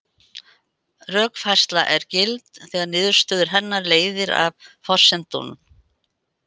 Rökfærsla er gild þegar niðurstöðu hennar leiðir af forsendunum.